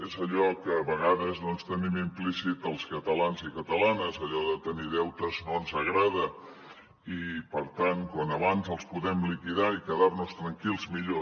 és allò que a vegades doncs tenim implícit els catalans i catalanes allò de tenir deutes no ens agrada i per tant quan abans els podem liquidar i quedar nos tranquils millor